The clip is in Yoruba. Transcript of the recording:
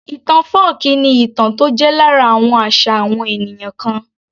Ìtàn fọ́ọ̀kí ni ìtàn tó jẹ́ lára àwọn àṣà àwọn ènìyàn kan